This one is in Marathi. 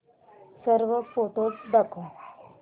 सर्व फोटोझ दाखव